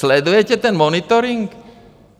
Sledujete ten monitoring?